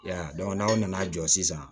Ya n'aw nana jɔsi sisan